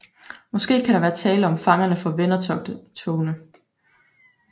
Måske kan der være tale om fangerne fra vendertogene